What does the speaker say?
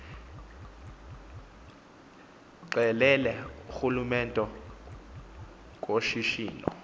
qelele kurhulumente kushishino